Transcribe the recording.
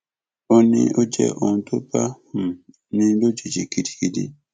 ó ní ó jẹ ohun tó bá um ní lójijì gidigidi